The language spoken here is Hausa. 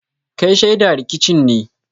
Kai shaida rikicin ne?